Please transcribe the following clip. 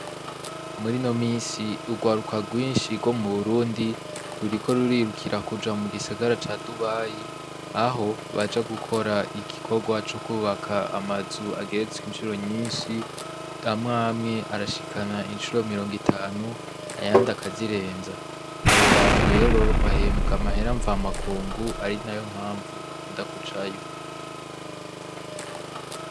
Muri ino misi urwaruka rwishi rwo mu Burundi ruriko rurirukira kuja mu gisagara ca Dubayi , aho baja gukora igikorwa co kwubaka amazu ageretswe incuro nyishi , amwe amwe arashikana incuro mirongo itanu ayandi akazirenza , abo bantu rero bahembwa amafaranga mva makungu , ari nayo mpamvu bakunda kujayo.